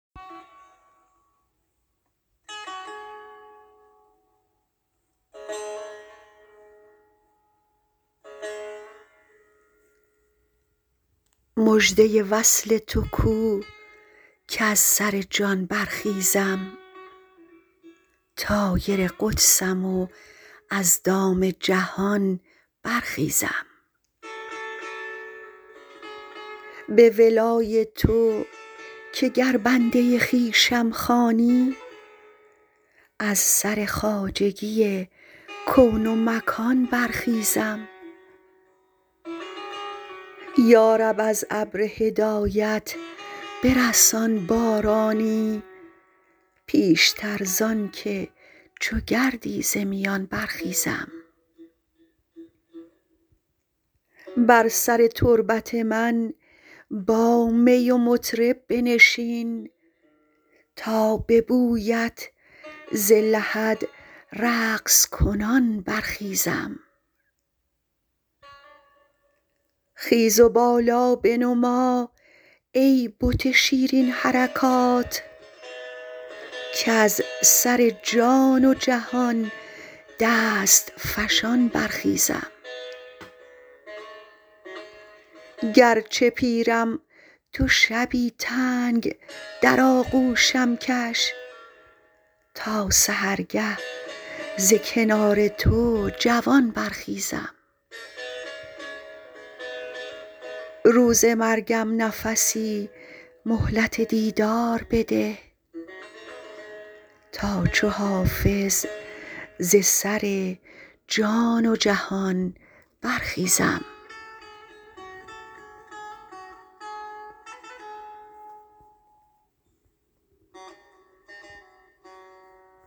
مژده وصل تو کو کز سر جان برخیزم طایر قدسم و از دام جهان برخیزم به ولای تو که گر بنده خویشم خوانی از سر خواجگی کون و مکان برخیزم یا رب از ابر هدایت برسان بارانی پیشتر زان که چو گردی ز میان برخیزم بر سر تربت من با می و مطرب بنشین تا به بویت ز لحد رقص کنان برخیزم خیز و بالا بنما ای بت شیرین حرکات کز سر جان و جهان دست فشان برخیزم گرچه پیرم تو شبی تنگ در آغوشم کش تا سحرگه ز کنار تو جوان برخیزم روز مرگم نفسی مهلت دیدار بده تا چو حافظ ز سر جان و جهان برخیزم